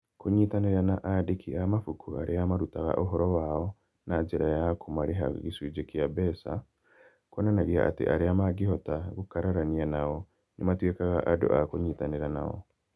Kũnyitanĩra na andĩki a mabuku arĩa marutaga ũhoro wao na njĩra ya kũmarĩha gĩcunjĩ kĩa mbeca - kuonanagia atĩ arĩa mangĩhota gũkararania nao nĩ matuĩkaga andũ a kũnyitanĩra nao.